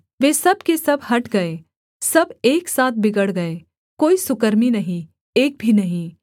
वे सब के सब हट गए सब एक साथ बिगड़ गए कोई सुकर्मी नहीं एक भी नहीं